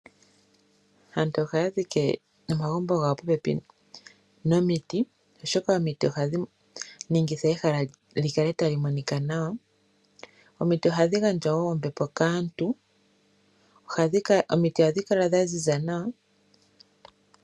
Aantu ohaya dhike omagumbo gawo popepi nomiti, oshoka omiti ohadhi ningitha ehala li kale tali monika nawa. Omiti ohadhi gandja wo ombepo kaantu. Omiti ohadhi kala dhaziza nawa.